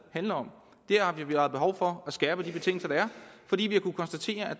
handler om vi har behov for at skærpe de betingelser der er fordi vi har kunnet konstatere at